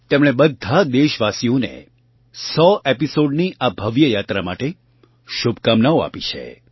તેમણે બધા દેશવાસીઓને સો એપિસૉડ 100th એપિસોડ્સ ની આ ભવ્ય યાત્રા માટે શુભકામનાઓ આપી છે